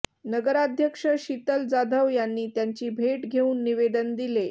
नगराध्यक्ष शीतल जाधव यांनी त्यांची भेट घेऊन निवेदन दिले